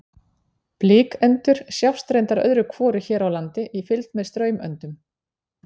Blikendur sjást reyndar öðru hvoru hér á landi í fylgd með straumöndum.